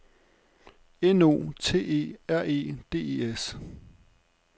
N O T E R E D E S